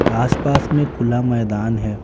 आस-पास में खुला मैदान है।